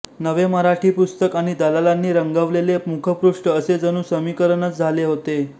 नवे मराठी पुस्तक आणि दलालांनी रंगवलेले मुखपृष्ठ असे जणू समीकरणच झाले होते